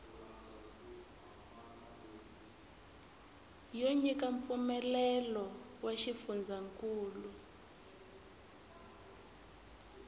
yo nyika mpfumelelo wa xifundzankulu